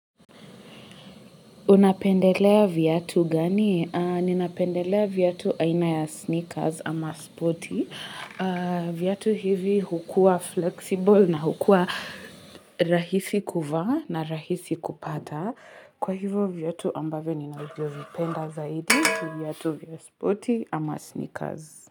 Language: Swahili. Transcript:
Unapendelea viatu gani? Ninapendelea viatu aina ya sneakers ama spotty. Vyatu hivi hukua flexible na hukua rahisi kuva na rahisi kupata. Kwa hivo viatu ambavyo ninavyovipenda zaidi ni viatu vya spotty ama sneakers.